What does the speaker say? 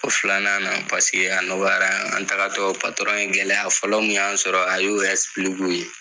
O filanan na paseke a nɔgɔyara an taagatɔ patɔrɔn ye, gɛlɛya fɔlɔ mun y'an sɔrɔ a ye o